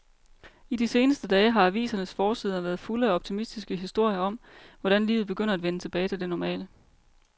I de seneste dage har avisernes forsider været fulde af optimistiske historier om, hvordan livet begynder at vende tilbage til det normale.